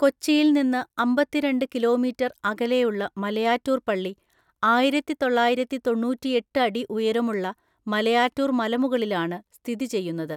കൊച്ചിയിൽ നിന്ന് അമ്പത്തിരണ്ട് ​​കിലോമീറ്റർ അകലെയുള്ള മലയാറ്റൂർ പള്ളി ആയിരത്തിതൊള്ളായിരത്തിതൊണ്ണൂറ്റി എട്ട് അടി ഉയരമുള്ള മലയാറ്റൂർ മലമുകളിലാണ് സ്ഥിതി ചെയ്യുന്നത്.